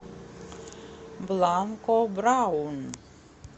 бланко браун